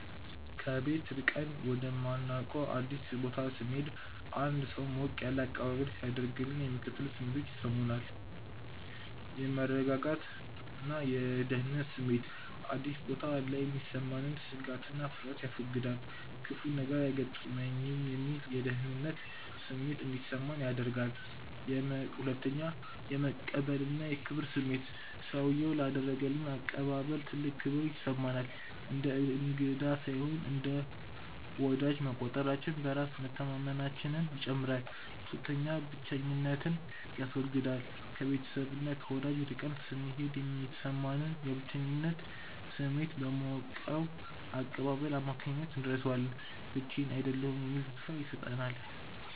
ከቤት ርቀን ወደማናውቀው አዲስ ቦታ ስንሄድ አንድ ሰው ሞቅ ያለ አቀባበል ሲያደርግልን የሚከተሉት ስሜቶች ይሰሙኛል፦ 1. የመረጋጋትና የደህንነት ስሜት፦ አዲስ ቦታ ላይ የሚሰማንን ስጋትና ፍርሃት ያስወግዳል። "ክፉ ነገር አይገጥመኝም" የሚል የደህንነት ስሜት እንዲሰማን ያደርጋል። 2. የመቀበልና የክብር ስሜት፦ ሰውዬው ላደረገልን አቀባበል ትልቅ ክብር ይሰማናል። እንደ እንግዳ ሳይሆን እንደ ወዳጅ መቆጠራችን በራስ መተማመናችንን ይጨምራል። 3. ብቸኝነትን ያስወግዳል፦ ከቤተሰብና ከወዳጅ ርቀን ስንሄድ የሚሰማንን የብቸኝነት ስሜት በሞቀው አቀባበል አማካኝነት እንረሳዋለን። ብቻዬን አይደለሁም የሚል ተስፋ ይሰጠናል።